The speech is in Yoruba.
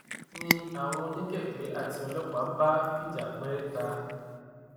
ni um àwọn oníkèké àti ọlọpàá bá um fìjà pè é ta